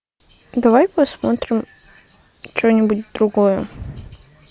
давай посмотрим что нибудь другое